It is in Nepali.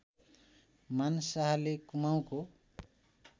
मान शाहले कुमाउँको